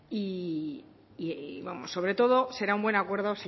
y sobre todo será un buen acuerdo